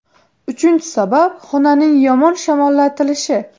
Uchinchi sabab xonaning yomon shamollatilishi.